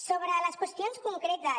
sobre les qüestions concretes